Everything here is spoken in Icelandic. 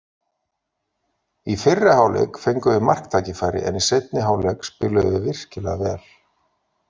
Í fyrri hálfleik fengum við marktækifæri, en í seinni hálfleik spiluðum við virkilega vel.